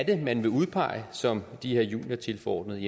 er man vil udpege som de her juniortilforordnede